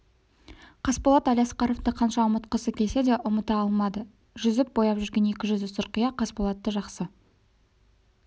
қасболат әлиасқаровты қанша ұмытқысы келсе де ұмыта алмады жүзіп бояп жүрген екі жүзді сұрқия қасболатты жақсы